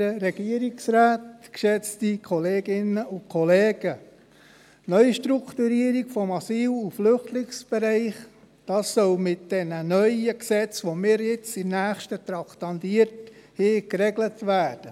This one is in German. der SiK. Die Neustrukturierung des Asyl- und Flüchtlingsbereichs soll mit diesen neuen Gesetzen, die wir als Nächstes traktandiert haben, geregelt werden.